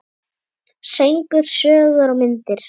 Söngur, sögur og myndir.